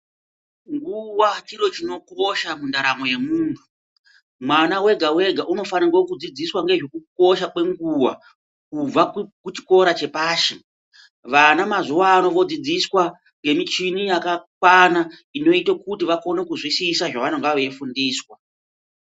Nguwa chiro chinokosha mundaramo yemunhu. Mwana wega wega unofaniro kudzidziswa ngezvekukosha kwenguwa, kubva kuchikora chepashi. Vana mazuwano vodzidziswa ngemichini yakakwana inoita kuti vakone kuzvisisa zvavanonga veyifundiswa.